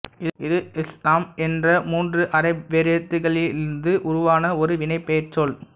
இது ஸ்ல்ம் என்ற மூன்று அரபி வேரெழுத்துகளிலிருந்து உருவான ஒரு வினைப்பெயர் சொல்